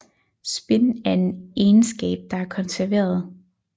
Spin er en egenskab der er konserveret